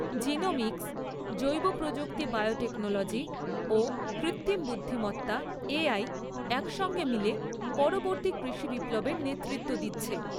Genomics, জৈবপ্রযুক্তি biotechnology ও কৃত্রিম বুদ্ধিমত্তা এআই একসঙ্গে মিলে পরবর্তী কৃষিবিপ্লবের নেতৃত্ব দিচ্ছে।